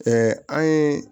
an ye